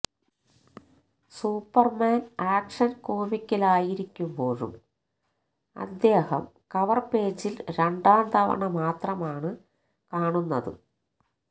Superman action കോമിക്കിലായിരിക്കുമ്പോഴും അദ്ദേഹം cover പേജിൽ രണ്ടാംതവണ മാത്രമാണ് കാണുന്നത്